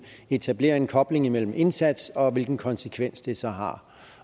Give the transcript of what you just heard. etablere en kobling imellem indsats og hvilken konsekvens det så har